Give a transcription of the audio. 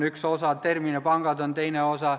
Terminipangad on teine osa.